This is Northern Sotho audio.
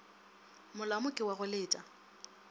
molamo ke wa go leta